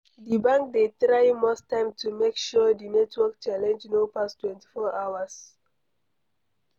Di banks dey try most times to make sure di network challenge no pass 24 hours